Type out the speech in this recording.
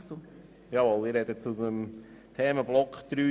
Ich spreche zum Themenblock 3d.